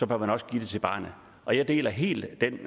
bør man også give det til barnet og jeg deler helt den